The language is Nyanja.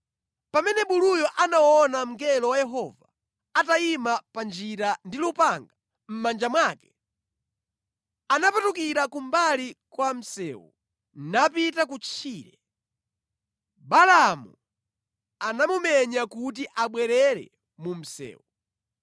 Pamene buluyo anaona mngelo wa Yehova atayima pa njira ndi lupanga mʼmanja mwake, anapatukira kumbali kwa msewu napita kutchire. Balaamu anamumenya kuti abwerere mu msewu.